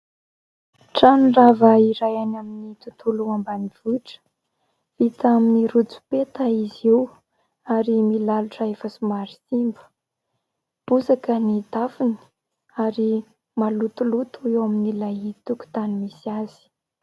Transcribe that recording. Trano rava iray any amin'ny tontolo ambanivohitra. Vita amin'ny rotsopeta izy io ary milalotra efa somary simba. Bozaka ny tafony ary malotoloto eo amin'ilay tokotany misy azy.